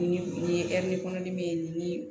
Ni ye kɔnɔdimi min ye ni